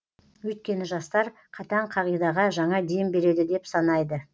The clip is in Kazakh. өйткені жастар қатаң қағидаға жаңа дем береді деп санайды